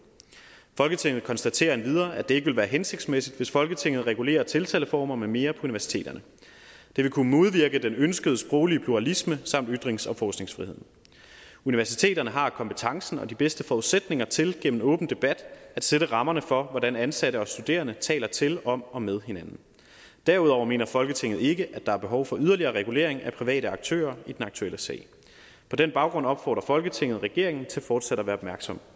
folketinget konstaterer endvidere at det ikke vil være hensigtsmæssigt hvis folketinget regulerer tiltaleformer med mere universiteterne det vil kunne modvirke den ønskede sproglige pluralisme samt ytrings og forskningsfriheden universiteterne har kompetencen og de bedste forudsætninger til gennem åben debat at sætte rammerne for hvordan ansatte og studerende taler til om og med hinanden derudover mener folketinget ikke at der er behov for yderligere regulering af private aktører i den aktuelle sag på den baggrund opfordrer folketinget regeringen til fortsat at være opmærksom